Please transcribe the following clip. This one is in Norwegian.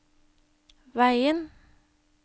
veien